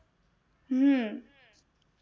હમ